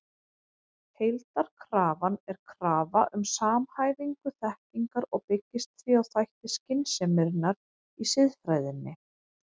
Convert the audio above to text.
Heildarkrafan er krafa um samhæfingu þekkingar og byggist því á þætti skynseminnar í siðfræðinni.